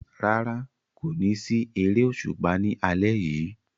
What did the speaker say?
Rárá, kò ní sí eré òṣùpá ní alẹ́ yìí